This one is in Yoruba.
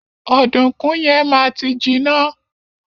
Ọdunkun yẹn ma ti jiná.